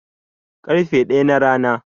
ƙarfe ɗaya na Rana